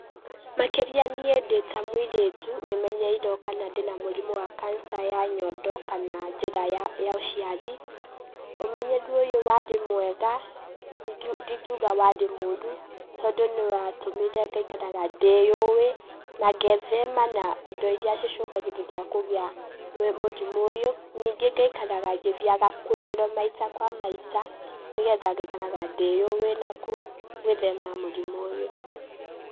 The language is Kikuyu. Makĩria niĩ ndĩ ta mũirĩtu, nĩ menyeirwo kana ndĩ na mũrimũ wa kanca ya nyondo kana njĩra ya ũciari. Ũmenyeru ũyũ warĩ mwega, ndingiuga warĩ moru, tondũ nĩ watũmire ngaikaraga ndĩuĩ, na ngethema na indo iria cicũngagĩrĩria kũgĩa mũrimũ ũyũ, ningĩ ngaikaraga ngĩthiaga kũrorwo maita kwa maita nĩgetha ngaikaraga ndĩ ũĩ na gwĩthema mũrimũ ũyũ.